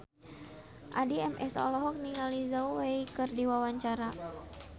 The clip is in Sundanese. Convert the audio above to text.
Addie MS olohok ningali Zhao Wei keur diwawancara